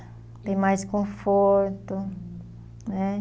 Tem mais conforto, né?